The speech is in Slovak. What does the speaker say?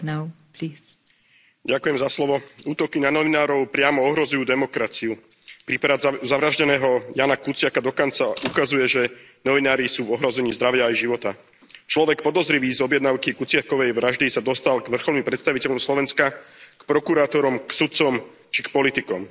Vážená pani predsedajúca, útoky na novinárov priamo ohrozujú demokraciu. Prípad zavraždeného Jána Kuciaka dokonca ukazuje, že novinári sú v ohrození zdravia aj života. Človek, podozrivý z objednávky Kuciakovej vraždy, sa dostal k vrcholným predstaviteľom Slovenska, k prokurátorom, k sudcom či k politikom.